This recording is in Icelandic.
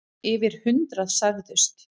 Yfir hundrað særðust.